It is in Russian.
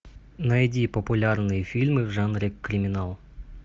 найди популярные фильмы в жанре криминал